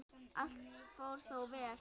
Allt fór þó vel.